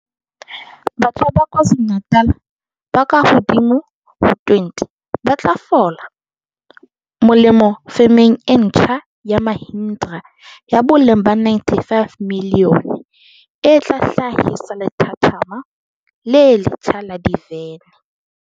Batjha ba KwaZu lu-Natal ba kahodimo ho 20 ba tlo fola molemo femeng e ntjha ya Mahindra ya boleng ba R95 milione e tla hla hisa lethathama le letjha la divene